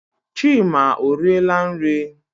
Chima ọriela nri?